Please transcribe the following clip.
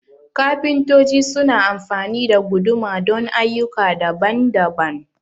kafintoci su na amfani da guduma don ayyuka daban-daban